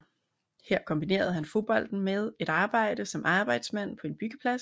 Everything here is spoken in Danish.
Her kombinerede han fodbolden med et arbejde som arbejdsmand på en byggeplads